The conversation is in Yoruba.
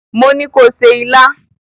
Mo ní ko se ilá!